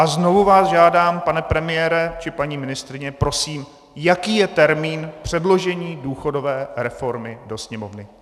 A znovu vás žádám, pane premiére či paní ministryně, prosím, jaký je termín předložení důchodové reformy do Sněmovny?